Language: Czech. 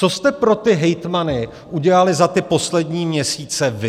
Co jste pro ty hejtmany udělali za ty poslední měsíce vy?